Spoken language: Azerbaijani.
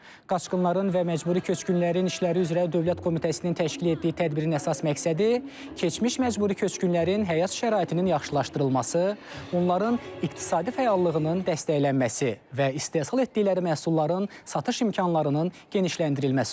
Qaçqınların və Məcburi Köçkünlərin İşləri üzrə Dövlət Komitəsinin təşkil etdiyi tədbirin əsas məqsədi keçmiş məcburi köçkünlərin həyat şəraitinin yaxşılaşdırılması, onların iqtisadi fəallığının dəstəklənməsi və istehsal etdikləri məhsulların satış imkanlarının genişləndirilməsi olub.